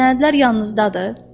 Sənədlər yanınızdadır?